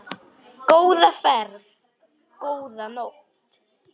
Góða ferð, góða nótt.